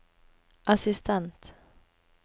assistent